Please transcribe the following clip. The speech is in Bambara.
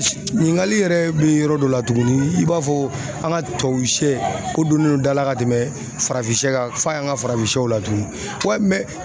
Ɲiningali yɛrɛ be yɔrɔ dɔ la tuguni i b'a fɔ an ka tubabusɛ o donnen do dala ka tɛmɛ farafin kan f'a y'an ka farafinsɛw la tuguni wayi mɛ